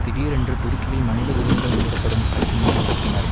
திடீரென்று துருக்கியில் மனித உரிமைகள் மீறப்படும் பிரச்சினையை எழுப்பினர்